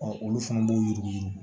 olu fana b'u yuguyugu